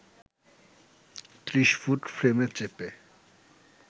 ৩০ foot ফ্রেমে চেপে